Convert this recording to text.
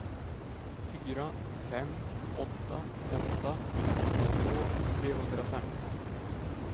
fyra fem åtta åtta tjugotvå trehundrafemton